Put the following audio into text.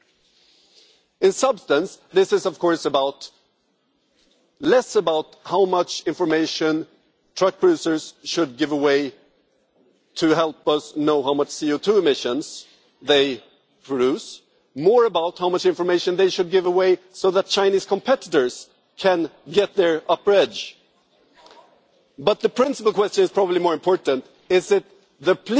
Essentially the issue is, of course, less about how much information truck users should give away to help us know how much CO2 emissions they produce and more about how much information they should give away so that Chinese competitors can get their upper edge. The principal question, which is probably more important, is that the